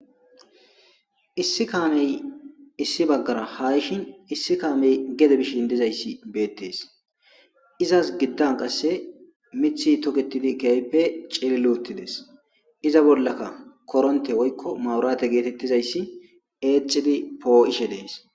Issi kaamey issi baggara haa yishin issi kaamey gede bishin dizayssi beettees; izas giddan qasse miththi tokeththidi keehippe cilliloththi des; iza bollaka koronththe woykko mawuraathe geetheththizayssi eexxidi poo7ishe dees.